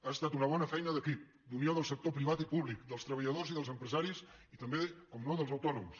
ha estat una bona feina d’equip d’unió del sector privat i públic dels treballadors i dels empresaris i també com no dels autònoms